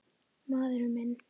Maður minn.